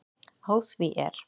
Á því er